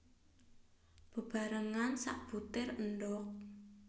Bebarengan sabutir endhog